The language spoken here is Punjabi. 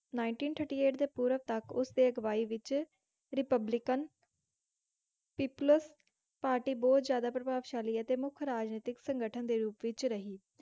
Ninteen Thirty Eight ਦੇ ਪੂਰਵ ਤੱਕ ਉਸਦੇ ਅਗਵਾਈ ਵਿੱਚ Republican peplus ਪਾਰਟੀ ਬਹੁਤ ਜ਼ਿਆਦਾ ਪ੍ਰਭਾਵਸ਼ਾਲੀ ਅਤੇ ਮੁੱਖ ਰਾਜਨੀਤਕ ਸੰਗਠਨ ਦੇ ਰੂਪ ਵਿੱਚ ਰਹੀ।